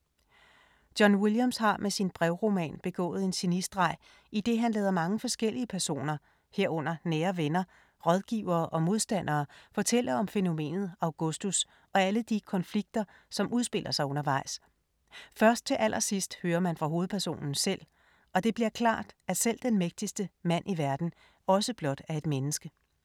John Williams har med sin brevroman begået en genistreg, idet han lader mange forskellige personer, herunder nære venner, rådgivere og modstandere fortælle om fænomenet Augustus og alle de konflikter, som udspiller sig undervejs. Først til allersidst hører man fra hovedpersonen selv og det bliver klart, at selv den mægtigste mand i verden også blot er et menneske.